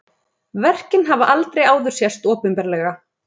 Verkin hafa aldrei áður sést opinberlega